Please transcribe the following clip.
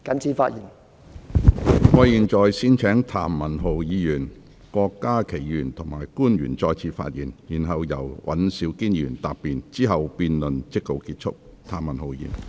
如果沒有，我現在先請譚文豪議員、郭家麒議員及官員再次發言，然後由尹兆堅議員答辯，之後辯論即告結束。